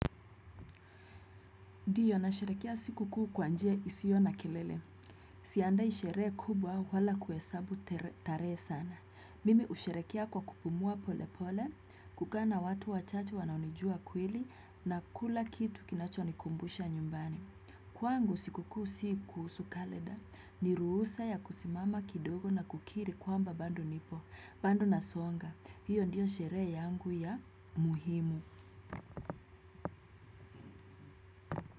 Ndio nasherehekea sikukuu kwa njia isiyo na kelele. Siandai sherehe kubwa wala kuhesabu tarehe sana. Mimi husherehekea kwa kupumua polepole, kukaa na watu wachache wanaonijua kweli na kula kitu kinachonikumbusha nyumbani. Kwangu sikukuu si kuhusu kalenda. Ni ruhusa ya kusimama kidogo na kukiri kwamba bado nipo, bado nasonga. Hiyo ndio sherehe yangu ya muhimu.